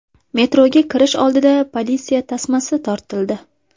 Metroga kirish oldida politsiya tasmasi tortildi.